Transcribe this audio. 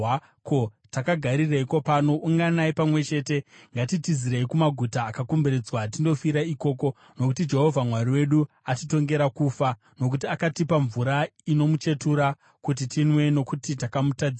“Ko, takagarireiko pano? Unganai pamwe chete! Ngatitizirei kumaguta akakomberedzwa tindofira ikoko! Nokuti Jehovha Mwari wedu atitongera kufa, nokuti akatipa mvura ino muchetura kuti tinwe, nokuti takamutadzira.